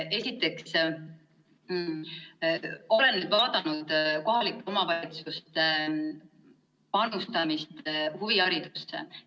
Esiteks, ma olen vaadanud kohalike omavalitsuste panustamist huviharidusse.